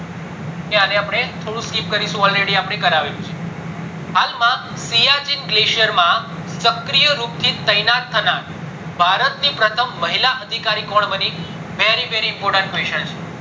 કે અને અપડે થોડું skip કરીશું already અપડે કરાવેલું છે હાલ માં સિયાચી glacier માં શક્રીય રૂપે તૈનાત થનાર ભારત ણ પ્રથમ મહિલા અધિકારી કોણ બની very very important question છે